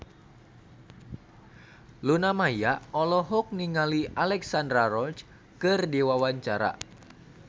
Luna Maya olohok ningali Alexandra Roach keur diwawancara